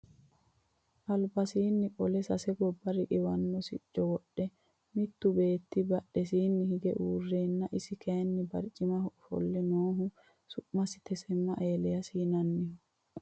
albasiinni qole sase gobba riqiwanno sicco wodhe mittu beetti badhesiinni hige uureenna isi kayeenni barcimaho ofolle noohu su'masi tesemma eliyaasi yianniho